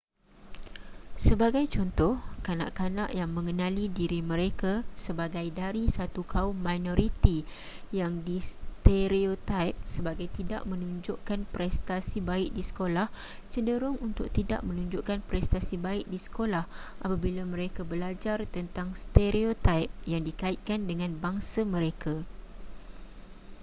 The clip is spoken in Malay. sebagai contoh kanak-kanak yang mengenali diri mereka sebagai dari satu kaum minoriti yang distereotaip sebagai tidak menunjukkan prestasi baik di sekolah cenderung untuk tidak menunjukkan prestasi baik di sekolah apabila mereka belajar tentang stereotaip yang dikaitkan dengan bangsa mereka